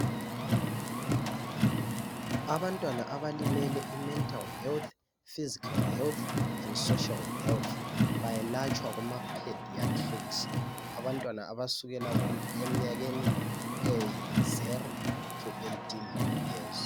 Abantwana abalimele i"mental health" ,"physical health and social health" bayelatshwa kuma "pediatrics" .Abantwana abasukela eminyakeni eyi "zero to eighteen years".